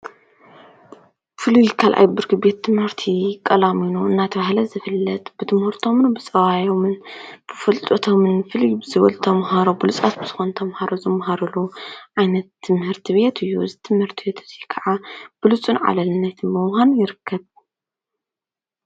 ፍሉይ ካልኣይ ብርኪ ቤት ትምህርቲ ቀላሚኖ እናተባሃለ ዝፍለጥ ብትምህርቶምን ብፀባዮምን ብፍልጦቶምን ፍልይ ዝበሉ ተምሃሮ ብሉፃት ዝኮኑ ተምሃሮ ዝማሃሩሉ ዓይነት ትምህርቲ ቤት እዩ። እዚ ትምህርቲ ቤት እዙይ ከዓ ብሉፁን ዓለልነት መውሃብን ይርከብ።